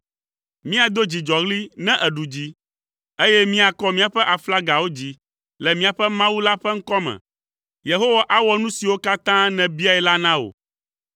Míado dzidzɔɣli ne èɖu dzi, eye míakɔ míaƒe aflagawo dzi le míaƒe Mawu la ƒe ŋkɔ me. Yehowa awɔ nu siwo katã nèbiae la na wò.